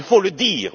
Il faut le dire.